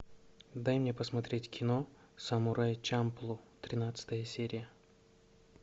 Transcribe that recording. дай мне посмотреть кино самурай чамплу тринадцатая серия